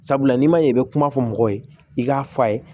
Sabula n'i ma ɲɛ i bɛ kuma fɔ mɔgɔ ye i k'a fɔ a ye